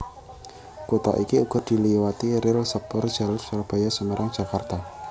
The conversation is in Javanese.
Kutha iki uga diliwati ril sepurjalur Surabaya Semarang Jakarta